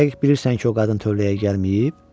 Dəqiq bilirsən ki, o qadın tövləyə gəlməyib?